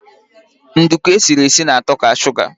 Nduku esiri esi na-ato ka suga